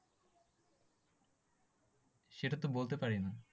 সেটাতো বলতে পারিনা।